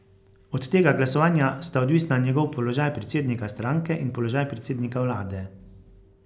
Od tega glasovanja sta odvisna njegov položaj predsednika stranke in položaj predsednika vlade.